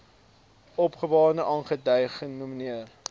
opgawe aangedui genommer